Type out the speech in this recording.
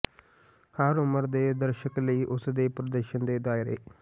ਹਰ ਉਮਰ ਦੇ ਦਰਸ਼ਕ ਲਈ ਉਸ ਦੇ ਪ੍ਰਦਰਸ਼ਨ ਦੇ ਦਾਇਰੇ